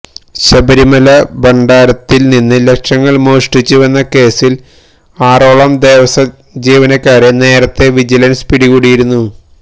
ശബരിമല ഭണ്ഡാരത്തില് നിന്നും ലക്ഷങ്ങള് മോഷ്ടിച്ചുവെന്ന കേസില് ആറോളം ദേവസ്വം ജീവനക്കാരെ നേരത്തെ വിജിലന്സ് പിടികൂടിയിരുന്നു